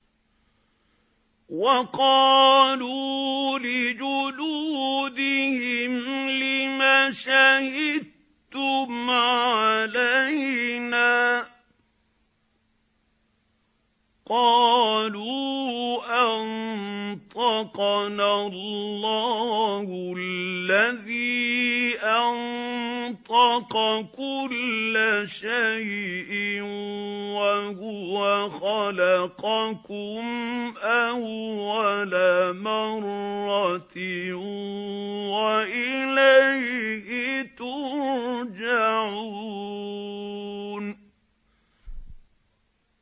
وَقَالُوا لِجُلُودِهِمْ لِمَ شَهِدتُّمْ عَلَيْنَا ۖ قَالُوا أَنطَقَنَا اللَّهُ الَّذِي أَنطَقَ كُلَّ شَيْءٍ وَهُوَ خَلَقَكُمْ أَوَّلَ مَرَّةٍ وَإِلَيْهِ تُرْجَعُونَ